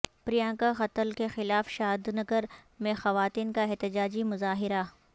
پرینکا قتل کے خلاف شادنگر میں خواتین کا احتجاجی مظاہرہ